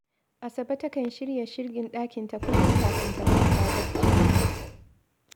Asabe takan shirya shirgin ɗakinta kullum kafin ta kwanta barci